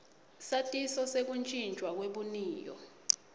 satiso sekutjintjwa kwebuniyo